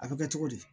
A bɛ kɛ cogo di